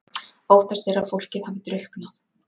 Óttast er að fólkið hafi drukknað